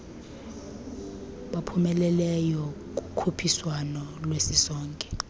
baphumeleleyo kukhuphiswano lwesisonke